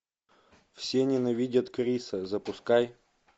все ненавидят криса запускай